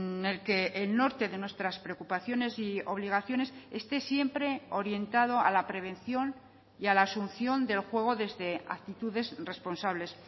en el que el norte de nuestras preocupaciones y obligaciones esté siempre orientado a la prevención y a la asunción del juego desde actitudes responsables